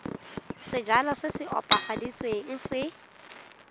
sejalo se se opafaditsweng se